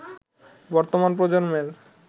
বর্তমান প্রজন্মের